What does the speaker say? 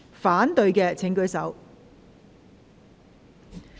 反對的請舉手。